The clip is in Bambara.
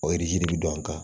O yiri bɛ don an kan